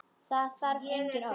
Það þarf engin orð.